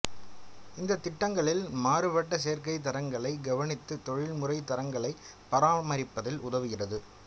இந்த திட்டங்களில் மாறுபட்ட சேர்க்கை தரங்களை கவனித்து தொழில்முறை தரங்களை பராமரிப்பதில் உதவுகிறது